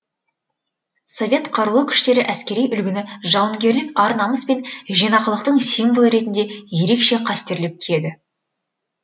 совет қарулы күштері әскери үлгіні жауынгерлік ар намыс пен жинақылықтың символы ретінде ерекше қастерлеп киеді